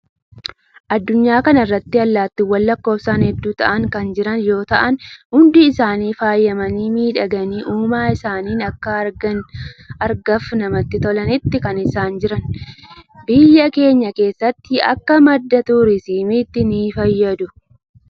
Adunyaa kana irratti allaattiiwwan lakkoofsaan hedduu ta'an kan jiran yoo ta'an, hundi isaanii faayamanii, miidhaganii uumaa isaaniin akka argaaf namatti tolanitti kan isaan jiran. Biyya keenya keessatti, akka madda turizimiittis ni fayyadu.